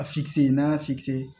A n'a y'a sigi sen